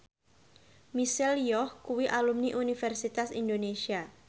Michelle Yeoh kuwi alumni Universitas Indonesia